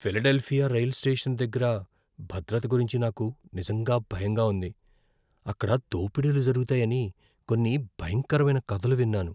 Philadelphia రైలు station దగ్గర భద్రత గురించి నాకు నిజంగా భయంగా ఉంది, అక్కడ దోపిడీలు జరుగుతాయని కొన్ని భయంకరమైన కథలు విన్నాను.